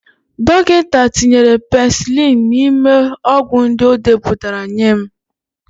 Dọkịta tinyere penisilinu n'ime ọgwụ ndị o depụtara nye m.